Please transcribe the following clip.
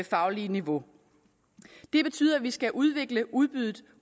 faglige niveau det betyder at vi skal udvikle udbuddet